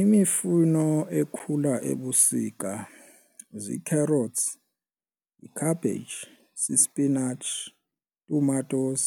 Imifuno ekhula ebusika zii-carrots yi-cabbage sispinatshi, tomatoes,